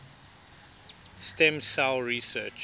stem cell research